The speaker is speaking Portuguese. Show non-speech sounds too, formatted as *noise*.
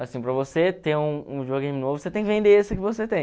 Assim, para você ter um *unintelligible* novo, você tem que vender esse que você tem.